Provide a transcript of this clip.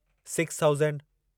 six thousand